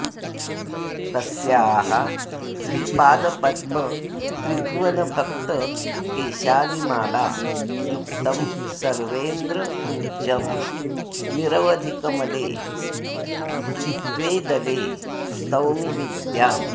तस्याः श्रीपादपद्मत्रिभुवनभक्तकेशालिमाला युक्तं सर्वेन्द्रपूज्यं निरवधिकमले द्वे दले स्तौमि विद्याम्